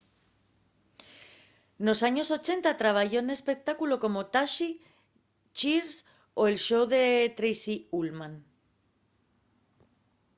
nos años 80 trabayó n'espectáculos como taxi cheers o el show de tracy ullman